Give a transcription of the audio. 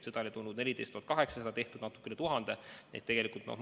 Seda oli tulnud 14 800 doosi, kasutatud on natukene üle 1000.